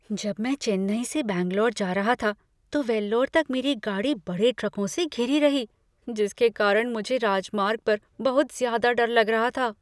जब मैं चेन्नई से बैंगलोर जा रहा था तो वेल्लोर तक मेरी गाड़ी बड़े ट्रकों से घिरी रही जिसके कारण मुझे राजमार्ग पर बहुत ज्यादा डर लग रहा था।